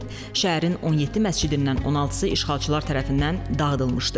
Şəhərin 17 məscidindən 16-sı işğalçılar tərəfindən dağıdılmışdı.